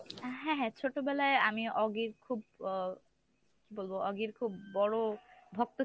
আহ হ্যাঁ হ্যাঁ ছোটবেলায় আমি oggy খুব আহ কী বলবো oggy র খুব বড় ভক্ত ছিলাম।